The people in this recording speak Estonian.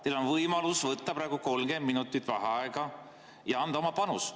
Teil on võimalus võtta praegu 30 minutit vaheaega ja anda oma panus.